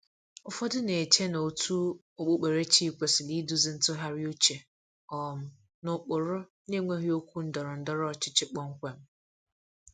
Ụfọdụ na-eche na òtù okpukperechi kwesịrị iduzi ntụgharị uche um n’ụkpụrụ na-enweghị okwu ndọrọ ndọrọ ọchịchị kpọmkwem.